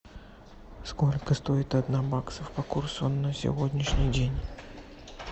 сколько стоит одна баксов по курсу на сегодняшний день